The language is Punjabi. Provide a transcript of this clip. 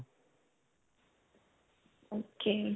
ok.